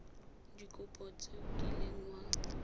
dikopo tse o kileng wa